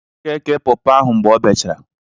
Ọ ga-èkè pọpọ ahụ mgbe ọ bechara